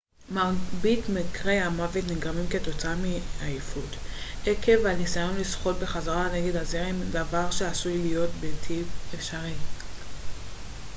מרבית מקרי המוות נגרמים כתוצאה מעייפות עקב הניסיון לשחות בחזרה נגד הזרם דבר שעשוי להיות בלתי אפשרי